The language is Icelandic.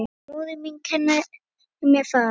Móðir mín kenndi mér það.